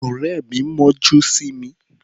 Ọ̀rẹ́ mi mọ́jú sí mi.